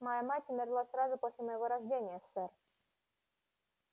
моя мать умерла сразу после моего рождения сэр